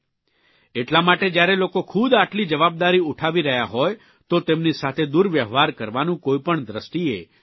એટલા માટે જયારે લોકો ખૂદ આટલી જવાબદારી ઉઠાવી રહ્યા હોય તો તેમની સાથે દુર્વ્યવહાર કરવાનું કોઇપણ દ્રષ્ટિએ યોગ્ય નથી